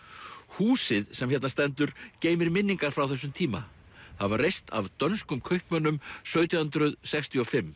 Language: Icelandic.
húsið sem hérna stendur geymir minningar frá þessum tíma það var reist af dönskum kaupmönnum sautján hundruð sextíu og fimm